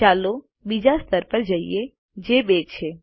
ચાલો બીજા સ્તર પર જઈએ જે 2 છે